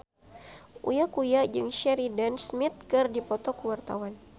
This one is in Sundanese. Uya Kuya jeung Sheridan Smith keur dipoto ku wartawan